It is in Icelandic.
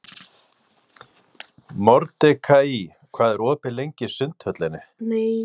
Mordekaí, hvað er opið lengi í Sundhöllinni?